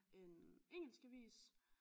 En engelsk avis